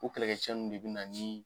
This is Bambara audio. Ko kɛlɛkɛcew de bɛ na ni.